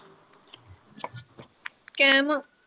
ਕਾਇਮ ਆਂ।